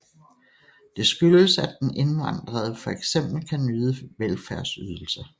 Det skyldes at den indvandrede for eksempel kan nyde velfærdsydelser